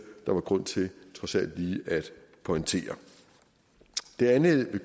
der var grund til trods alt lige at pointere det andet jeg vil